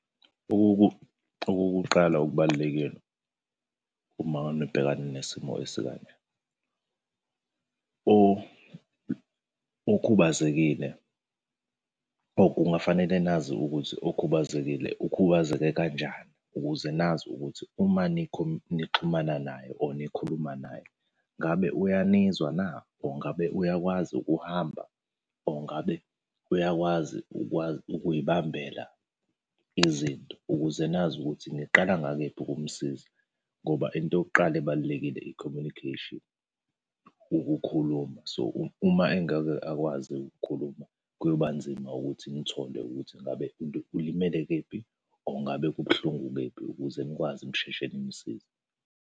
Okokuqala okubalulekile uma nibhekana nesimo esikanje, okhubazekile. O, kungafanele nazi ukuthi okhubazekile ukhubazeke kanjani ukuze nazi ukuthi uma nixhumana naye or nikhuluma naye, ngabe uyanizwa na or ngabe uyakwazi ukuhamba, or ngabe uyakwazi ukuy'bambela izinto, ukuze nazi ukuthi niqala ngakephi ukumsiza, ngoba into yokuqala ebalulekile i-communication, ukukhuluma. So, uma engeke akwazi ukukhuluma kuyoba nzima ukuthi nithole ukuthi ngabe ulimele kephi or ngabe kubuhlungu kephi ukuze nikwazi nisheshe nimusize.